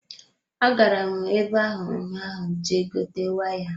Agara m ebe hụ ụnyaahụ Je gote waya.